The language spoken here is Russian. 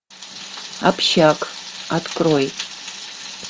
общак открой